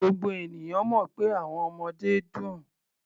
Gbogbo ènìyàn mọ̀ pé àwọn ọmọdé dùn.